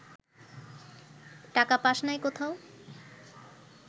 টাকা পাস নাই কোথাও